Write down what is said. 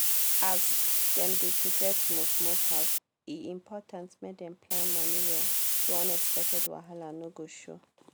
as dem dey prepare to move move house e important make dem plan money well so unexpected wahala no go show.